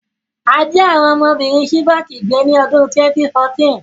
A jí àwon ọmọbìrin Chibok gbé ni odún 2014